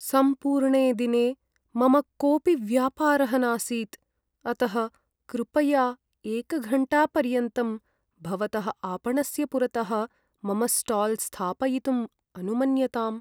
सम्पूर्णे दिने मम कोपि व्यापारः नासीत्, अतः कृपया एकघण्टापर्यन्तं भवतः आपणस्य पुरतः मम स्टाल् स्थापयितुम् अनुमन्यताम्।